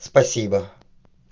спасибо